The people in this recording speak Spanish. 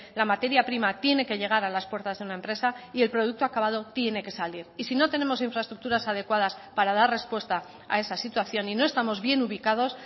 la materia prima tiene que llegar a las puertas de una empresa y el producto acabado tiene que salir y si no tenemos infraestructuras adecuadas para dar respuesta a esa situación y no estamos bien ubicados